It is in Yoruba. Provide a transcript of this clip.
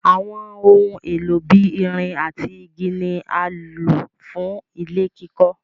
Àwọn ohun èlò bí ìrìn àti igi ni à lọ fú ilẹ̀ kikó.